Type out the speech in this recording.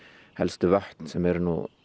helstu vötn sem eru